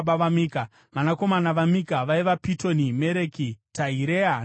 Vanakomana vaMika vaiva Pitoni: Mereki, Tahirea naAhazi.